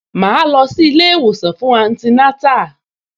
Màá lọ sí ilé-ìwòsàn fún antinátà